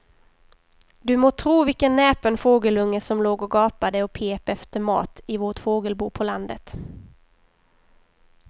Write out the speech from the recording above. Du må tro vilken näpen fågelunge som låg och gapade och pep efter mat i vårt fågelbo på landet.